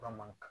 Fura man kan ka